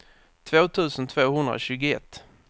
två tusen tvåhundratjugoett